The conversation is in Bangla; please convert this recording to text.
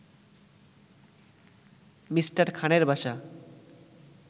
মি. খানের বাসা